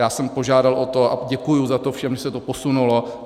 Já jsem požádal o to, a děkuji za to všem, že se to posunulo.